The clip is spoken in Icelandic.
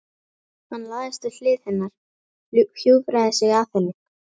Hann lagðist við hlið hennar, hjúfraði sig að henni.